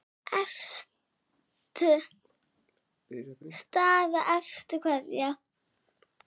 Staða efstu kvenna